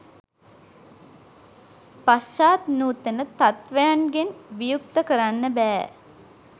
පශ්චාත් නූතන තත්ත්වයන්ගෙන් වියුක්ත කරන්න බෑ.